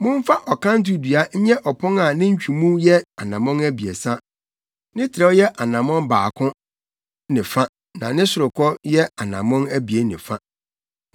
“Momfa ɔkanto dua nyɛ ɔpon a ne ntwemu mu yɛ anammɔn abiɛsa, ne trɛw yɛ ɔnammɔn baako ne fa na ne sorokɔ yɛ anammɔn abien ne fa.